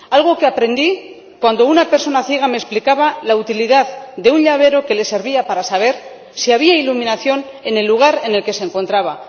Algo que aprendí cuando una persona ciega me explicaba la utilidad de un llavero que le servía para saber si había iluminación en el lugar en el que se encontraba.